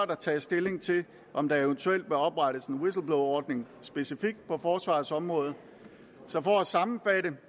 der tages stilling til om der eventuelt bør oprettes en whistleblowerordning specifikt på forsvarets område så for at sammenfatte